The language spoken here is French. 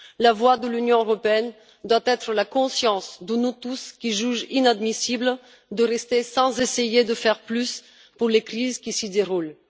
La voix de l'Union européenne doit être la conscience de nous tous qui jugeons inadmissible de rester sans essayer de faire plus pour les crises qui s'y déroulent.